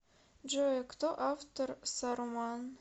джой кто автор саруман